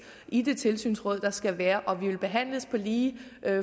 i det tilsynsråd der skal være og at vi vil behandles på lige